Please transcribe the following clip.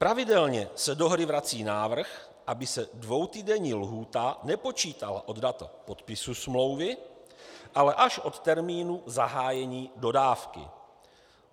Pravidelně se do hry vrací návrh, aby se dvoutýdenní lhůta nepočítala od data podpisu smlouvy, ale až od termínu zahájení dodávky.